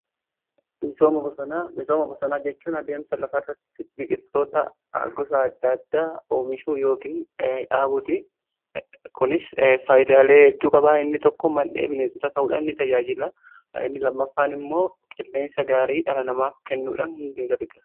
Misooma bosonaa jechuun adeemsa lafa irratti biqiltoota agosa addaadda oomishuu yookiin dhaabuti kunis faayidaalee hedduu qabaa inni tokko mandhee bineetota ta'uudhan ni tajaajila inni lammaffaan immoo qilleensa gaarii dhala namaaf kennuudhan gargaara.